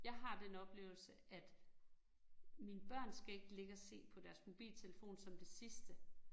Jeg har den oplevelse, at mine børn skal ikke ligge og se på deres mobiltelefon som det sidste